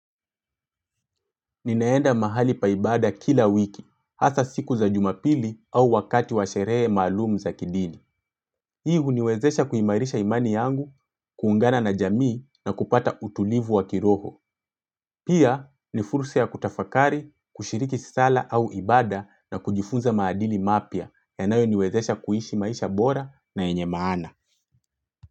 Ninaenda mahali paibada kila wiki, hasa siku za jumapili au wakati washerehe malumu za kidini. Hii huniwezesha kuimarisha imani yangu, kuungana na jamii na kupata utulivu wa kiroho. Pia, nifursa ya kutafakari, kushiriki sala au ibada na kujifunza maadili mapya, ya nayo niwezesha kuishi maisha bora na yenye maana.